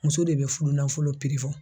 Muso de be fudunanfolo fɔ.